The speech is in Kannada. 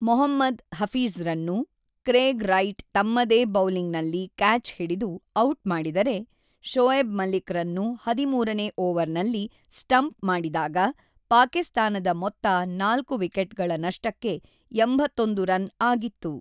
ಮೊಹಮ್ಮದ್ ಹಫೀಜ್‌ರನ್ನು ಕ್ರೇಗ್ ರೈಟ್ ತಮ್ಮದೇ ಬೌಲಿಂಗ್‌ನಲ್ಲಿ ಕ್ಯಾಚ್ ಹಿಡಿದು ಔಟ್‌ ಮಾಡಿದರೆ, ಶೋಯೆಬ್ ಮಲಿಕ್‌ರನ್ನು ಹದಿಮೂರನೇ ಓವರ್‌ನಲ್ಲಿ ಸ್ಟಂಪ್ ಮಾಡಿದಾಗ ಪಾಕಿಸ್ತಾನದ ಮೊತ್ತ ೪ ವಿಕೆಟ್‌ಗಳ ನಷ್ಟಕ್ಕೆ ೮೧ ರನ್‌ ಆಗಿತ್ತು.